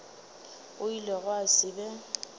go ile gwa se be